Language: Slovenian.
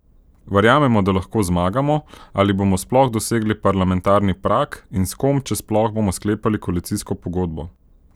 Verjamemo, da lahko zmagamo ali bomo sploh dosegli parlamentarni prag, in s kom, če sploh, bomo sklepali koalicijsko pogodbo?